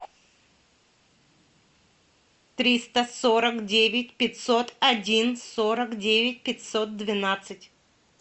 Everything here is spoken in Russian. триста сорок девять пятьсот один сорок девять пятьсот двенадцать